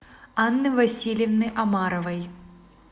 анны васильевны омаровой